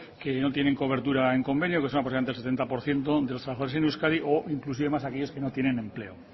que no tienen cobertura en convenio que setenta por ciento de los trabajadores en euskadi o inclusive más los que no tienen empleo